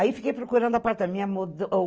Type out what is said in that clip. Aí fiquei procurando apartamento.